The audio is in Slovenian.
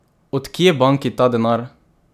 Od kje banki ta denar?